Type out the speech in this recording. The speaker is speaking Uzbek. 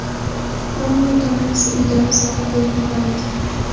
Ammo ota-onamiz uydan uzoqqa qo‘yib yubormagan.